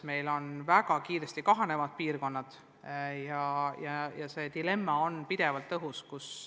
Meil on ka väga kiiresti kahaneva elanikkonnaga piirkonnad ja see dilemma on pidevalt õhus.